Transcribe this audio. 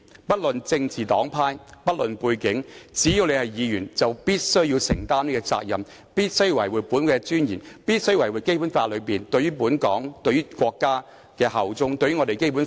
不論政治黨派、背景，只要身為議員，便必須承擔這項責任，維護本會尊嚴及《基本法》內規定對香港和國家效忠的條文，擁護《基本法》。